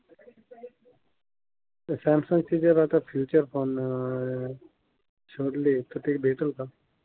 Samsung चे जर आता फिवचर फोन अं शोधले तर ते भेटेल का?